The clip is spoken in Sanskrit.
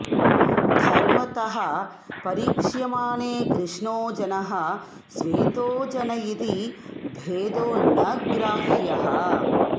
धर्मतः परीक्ष्यमाणे कृष्णो जनः श्वेतो जन इति भेदो न ग्राह्यः